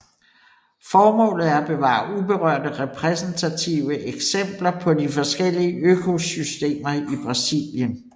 Formålet er at bevare uberørte repræsentative eksempler på de forskellige økosystemer i Brasilien